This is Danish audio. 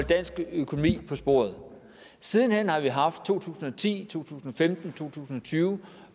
dansk økonomi på sporet siden hen har vi haft en to tusind og ti to tusind og femten og to tusind og tyve